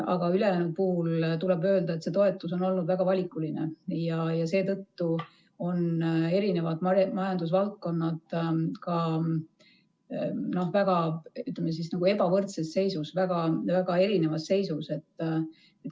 Aga ülejäänu puhul tuleb öelda, et see toetus on olnud väga valikuline ja seetõttu on erinevad majandusvaldkonnad ka väga ebavõrdses seisus, väga erinevas seisus.